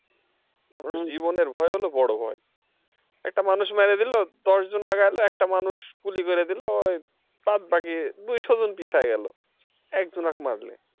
জীবনের ভয় হলো বড় ভয় একটা মানুষ মেরে দিল দশজন আগাই এলো একটা মানুষ গুলি করে দিল বাদবাকি দুইশজন পিছায় গেল একজনাক মারলে।